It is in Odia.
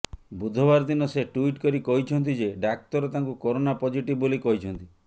ବୁଧବାର ଦିନ ସେ ଟ୍ୱିଟ୍ କରି କହିଛନ୍ତି ଯେ ଡାକ୍ତର ତାଙ୍କୁ କରୋନା ପଜିଟିଭ ବୋଲି କହିଛନ୍ତି